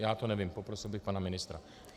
Já to nevím, poprosil bych pana ministra.